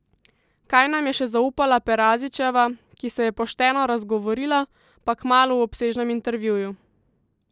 Kaj nam je še zaupala Perazićeva, ki se je pošteno razgovorila, pa kmalu v obsežnem intervjuju!